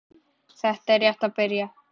Þetta er rétt að byrja.